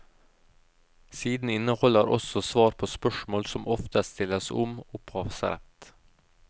Siden inneholder også svar på spørsmål som ofte stilles om opphavsrett.